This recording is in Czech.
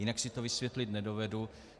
Jinak si to vysvětlit nedovedu.